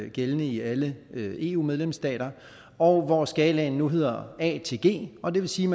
gældende i alle eu medlemsstater og hvor skalaen nu hedder a til g og det vil sige